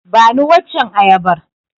Bani waccen ayabar.